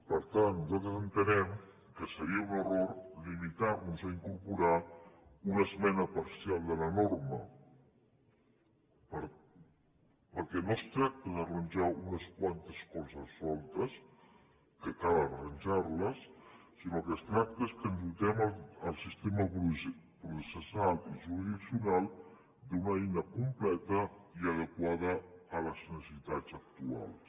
per tant nosaltres entenem que seria un error limitar nos a incorporar una esmena parcial de la norma perquè no es tracta d’arranjar unes quantes coses soltes que cal arranjar les sinó que es tracta de dotar el sistema processal i jurisdiccional d’una eina completa i adequada a les necessitats actuals